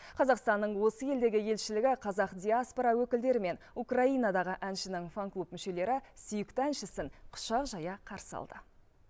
қазақстанның осы елдегі елшілігі қазақ диаспора өкілдері мен украинадағы әншінің фан клуб мүшелері сүйікті әншісін құшақ жая қарсы алды